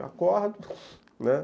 Acordo, né.